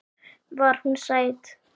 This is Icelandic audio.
Var hún sæt?